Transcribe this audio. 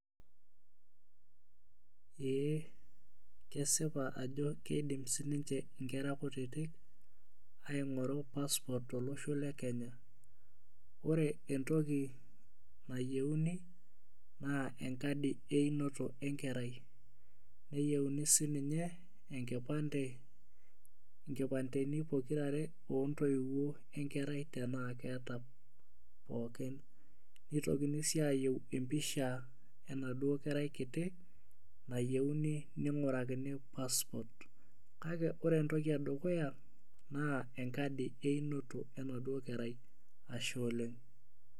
Ee kesipa ajo kedim sininiye nkera kutitik aingoru passport tolosho le Kenya ore entoki nayieuni na enkadi einoto enkerai neyeuni sininiye enkipande nkipandeni pookira ontoiwuo enkerai tanaa keeta pookin nitokini si ayieu empisha enaduo kerai kiti nayieuni ningurakini passport kake ore entoki edukuya na enkadi einoto enaduo kerai